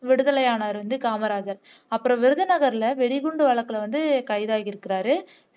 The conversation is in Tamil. விடுதலை ஆனார் காமராஜர் அப்புறம் விருதுநகர்ல வெடிகுண்டு வழக்குல வந்து கைதாகி இருக்கிறார்